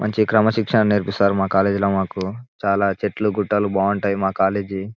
మంచి క్రమశిక్షణ నేర్పిస్తారు మా కాలేజీ లో మాకు చాల చెట్లు గుట్టలు బాగా ఉంటాయి మా కాలేజీ.